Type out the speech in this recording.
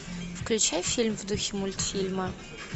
включай фильм в духе мультфильма